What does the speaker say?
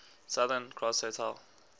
southern cross hotel